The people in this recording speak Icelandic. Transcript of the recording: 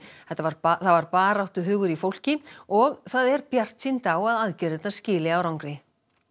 það var var baráttuhugur í fólki og það er bjartsýnt á að aðgerðirnar skili árangri